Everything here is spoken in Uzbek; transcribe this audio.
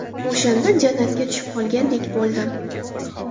O‘shanda jannatga tushib qolgandek bo‘ldim.